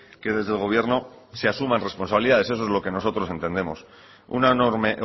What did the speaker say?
que desde el gobierno se asuman responsabilidades eso es lo que nosotros entendemos una enorme